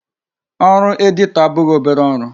Ọrụ editor abụghị obere ọrụ.